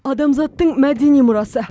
адамзаттың мәдени мұрасы